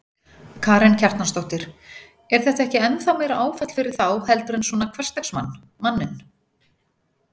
Karen Kjartansdóttir: Er þetta ekki ennþá meira áfall fyrir þá heldur en svona hversdagsmann, manninn?